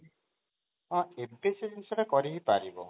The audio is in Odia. ହଁ କେତେ ସେ ଜିନିଷଟା କରି ବି ପାରିବ?